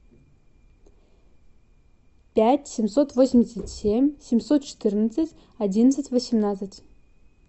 пять семьсот восемьдесят семь семьсот четырнадцать одиннадцать восемнадцать